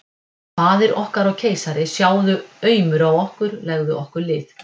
Faðir okkar og keisari, sjáðu aumur á okkur, legðu okkur lið!